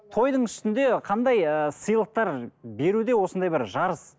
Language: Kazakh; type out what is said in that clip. тойдың үстінде қандай ыыы сыйлықтар беруде осындай бір жарыс